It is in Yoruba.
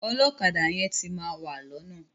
Ọlọ́kadà yẹn ti máa wà lọ́nà.